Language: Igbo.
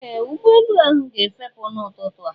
Ee! Ụgbọelu ahụ ga-efepụ n'ụtụtụ a.